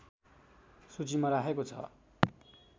सूचीमा राखेको छ